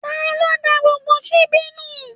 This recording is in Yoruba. Taló dá gbogbo síbí nu?